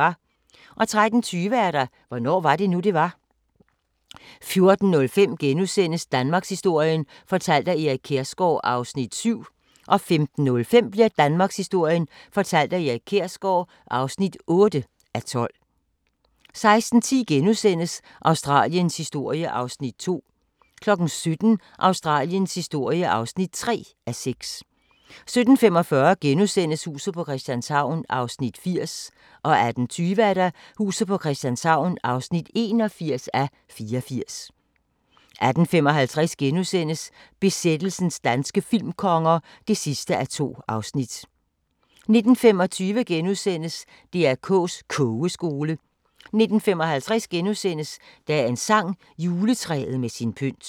13:20: Hvornår var det nu, det var? 14:05: Danmarkshistorien fortalt af Erik Kjersgaard (7:12)* 15:05: Danmarkshistorien fortalt af Erik Kjersgaard (8:12) 16:10: Australiens historie (2:6)* 17:00: Australiens historie (3:6) 17:45: Huset på Christianshavn (80:84)* 18:20: Huset på Christianshavn (81:84)* 18:55: Besættelsens danske filmkonger (2:2)* 19:25: DR K's Kogeskole * 19:55: Dagens sang: Juletræet med sin pynt *